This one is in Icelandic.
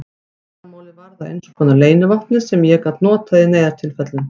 Leyndarmálið varð að einskonar leynivopni sem ég gat notað í neyðartilfellum.